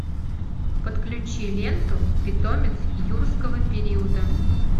подключи ленту питомец юрского периода